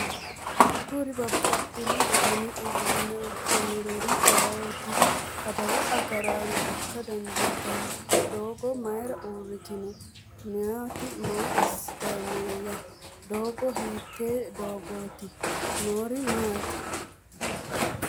Kuri babaxino dani uduunne uddidhinori ayeooti adawu agaraano ikka dandiitanno? Doogote mayra uurritino meyati maa assitanni nooyya doogo hiittoote doogote noori maati